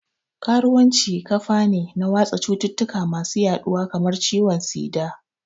Karuwanci kafane na watsa cututtuka masu yaduwa kamar ciwon tsida